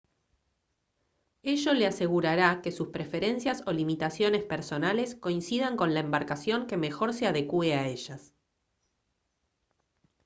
ello le asegurará que sus preferencias o limitaciones personales coincidan con la embarcación que mejor se adecúe a ellas